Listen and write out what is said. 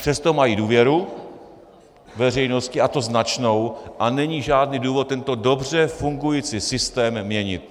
Přesto mají důvěru veřejnosti, a to značnou, a není žádný důvod tento dobře fungující systém měnit.